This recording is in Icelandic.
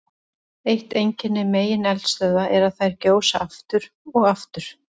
Eitt einkenni megineldstöðva er að þær gjósa aftur og aftur.